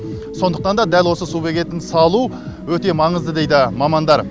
сондықтан да дәл осы су бекетін салу өте маңызды дейді мамандар